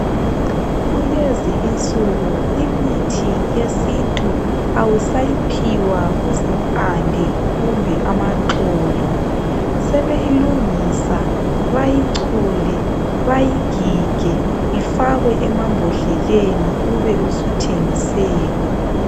Kulezi insuku imithi yesintu awusayiphiwa kuzimpande kumbe amaxolo. Sebeyilungisa, bayichole, bayigige ifakwe emambodleleni, ube usuthengiselwa.